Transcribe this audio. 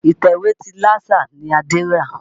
Ìtẹ̀wé ti Lásà ni Adé rà.